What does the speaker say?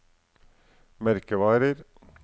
merkevarer